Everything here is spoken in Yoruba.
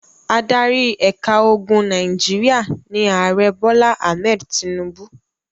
Adarí ẹ̀ka ogun Nàìjíríà ni Ààrẹ Bọ́lá Ahmed Tinubu.